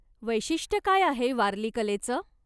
वैशिष्ट काय आहे वारली कलेचं?